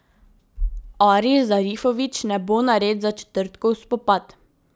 Aris Zarifović ne bo nared za četrtkov spopad.